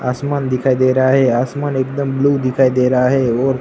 आसमान दिखाई दे रहा है आसमान एकदम ब्लू दिखाई दे रहा है और--